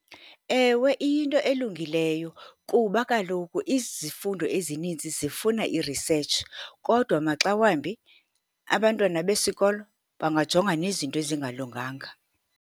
Ewe, iyinto elungileyo kuba kaloku izifundo ezininzi zifuna irisetshi, kodwa maxa wambi abantwana besikolo bangajonga nezinto ezingalunganga.